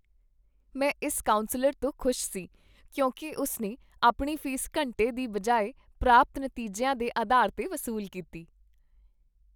ਮੈਂ ਇਸ ਕਾਉਂਸਲਰ ਤੋਂ ਖੁਸ਼ ਸੀ ਕਿਉਂਕਿ ਉਸਨੇ ਆਪਣੀ ਫੀਸ ਘੰਟੇ ਦੀ ਬਜਾਏ ਪ੍ਰਾਪਤ ਨਤੀਜਿਆਂ ਦੇ ਅਧਾਰ ਤੇ ਵਸੂਲ ਕੀਤੀ।